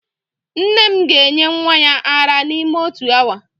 Nne m ga-enye nwa ya ara n'ime otu awa